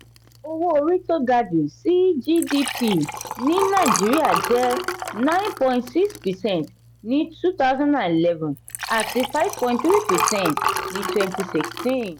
owó orí tó ga jù sí gdp ní nàìjíríà jẹ nine point six percent ní twenty eleven àti five point three percent ní twenty sixteen.